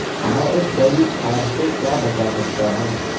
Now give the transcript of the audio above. میں ایک گلی کھان سے کیا بچا سکتا ہوں